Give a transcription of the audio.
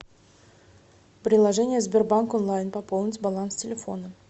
приложение сбербанк онлайн пополнить баланс телефона